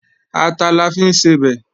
Ata la fi ń sebẹ̀